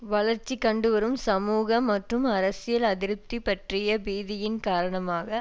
வளர்ச்சி கண்டுவரும் சமூக மற்றும் அரசியல் அதிருப்தி பற்றிய பீதியின் காரணமாக